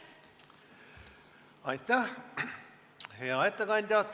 Aitäh, hea ettekandja!